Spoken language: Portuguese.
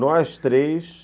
Nós três.